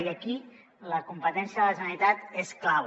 i aquí la competència de la generalitat és clau